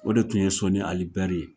O de tun ye Sɔni Ali Bɛri ye.